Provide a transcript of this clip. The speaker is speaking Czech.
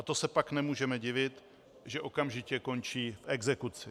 A to se pak nemůžeme divit, že okamžitě končí v exekuci.